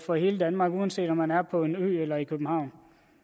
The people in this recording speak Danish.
for hele danmark uanset om man er på en ø eller i københavn